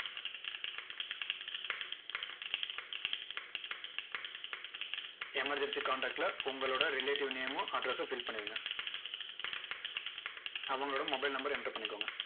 emerency contact ல உங்களோட relative name ம் address ம் fill பண்ணிருங்க. அவங்களோட mobile number enter பண்ணிக்கோங்க.